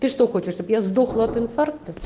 ты что хочешь чтобы я сдохла от информ